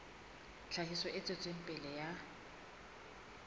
tlhahiso e tswetseng pele ya